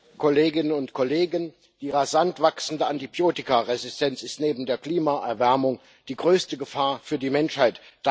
Herr Präsident, Kolleginnen und Kollegen! Die rasant wachsende Antibiotikaresistenz ist neben der Klimaerwärmung die größte Gefahr für die Menschheit.